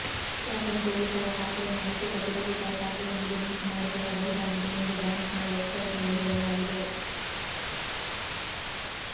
ಪ್ರಾಥಮಿಕ ಉಳಿತಾಯ ಖಾತೆಯನ್ನು ಅಂಚೆ ಕಚೇರಿ ಉಳಿತಾಯ ಖಾತೆಯೊಂದಿಗೆ ಲಿಂಕ್ ಮಾಡಿಕೊಳ್ಳಬಹುದಾಗಿದೆ ಎಂದು ಬ್ಯಾಂಕ್ನ ವೆಬ್ಸೈಟ್ನಲ್ಲಿ ಹೇಳಲಾಗಿದೆ